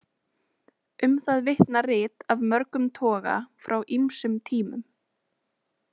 Um það vitna rit af mörgum toga frá ýmsum tímum.